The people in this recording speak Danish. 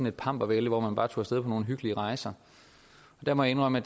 et pampervælde hvor man bare tog af nogle hyggelige rejser der må jeg indrømme at